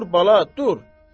Dur bala, dur.